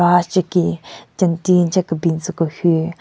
Ashyeki jentin che kebin tsü ku hyu.